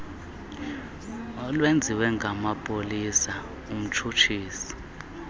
olwenziwe ngamapolisa umtshutshisi